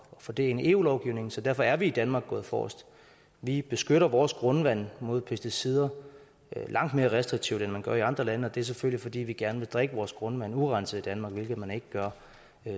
få det ind i eu lovgivningen så derfor er vi i danmark gået forrest vi beskytter vores grundvand imod pesticider langt mere restriktivt end man gør i andre lande og det er selvfølgelig fordi vi gerne vil drikke vores grundvand urenset i danmark hvilket man ikke gør